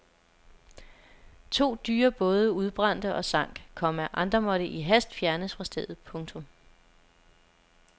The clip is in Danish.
To dyre både udbrændte og sank, komma andre måtte i hast fjernes fra stedet. punktum